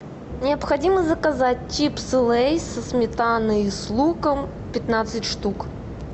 необходимо заказать чипсы лейс со сметаной и с луком пятнадцать штук